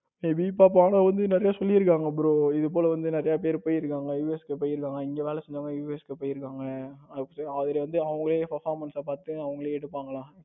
நிறைய சொல்லி இருக்காங்க bro இதுபோல வந்து நிறைய பேர் போயிருக்காங்க USA போய் இருக்காங்க. இங்க வேலை செஞ்சவங்க UAS போய் இருக்காங்க. அதுல வந்து அவங்களே performance பார்த்து அவங்களே எடுப்பாங்களாம்.